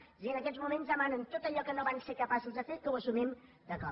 és a dir en aquests moments demanen tot allò que no van ser capaços de fer que ho assumim de cop